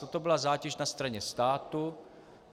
Toto byla zátěž na straně státu.